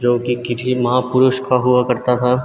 जो की किसी महापुरुष का हुआ करता था।